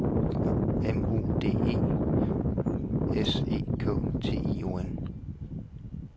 M O D E S E K T I O N